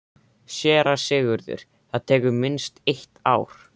SÉRA SIGURÐUR: Það tekur minnst eitt ár.